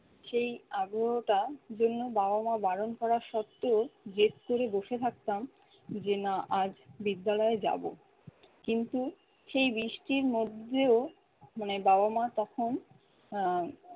সেই আগ্রহটা জন্য বাবা মা বারণ করা শর্তেও জেদ করে বসে থাকতাম যে না আজ বিদ্যালয়ে যাব কিন্তু সেই বৃষ্টির মধ্যেও মানে বাবা মা তখন আহ